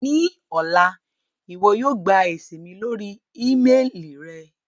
Ni ọla, iwọ yóò gba esi mi lori ímeelì rẹ